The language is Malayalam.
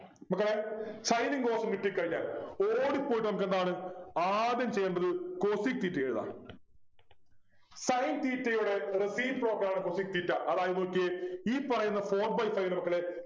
മക്കളെ Sin ഉം cos ഉം കിട്ടി കഴിഞ്ഞാൽ ഓടിപ്പോയിട്ട് നമുക്കെന്താണ് ആദ്യം ചെയ്യേണ്ടത് cosec theta എഴുതാം Sin theta യുടെ reciprocal ആണ് cosec theta അതായത് നോക്കിയേ ഈ പറയുന്ന four by five ഇല്ലേ മക്കളെ